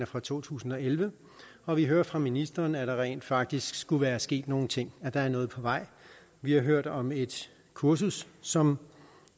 fra to tusind og elleve og vi hører fra ministeren at der rent faktisk skulle være sket nogle ting at der er noget på vej vi har hørt om et kursus som